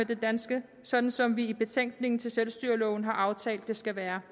det danske sådan som vi i betænkningen til selvstyreloven har aftalt det skal være